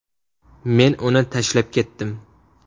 Men uni tashlab ketdim.